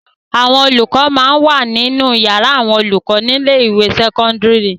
Àwọn olùkọ máa ń wà nínú yàrá àwọn olùkọ ní ilé-ìwé sẹ́kọ́ńdírì.